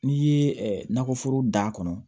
N'i ye nakɔ foro da kɔnɔ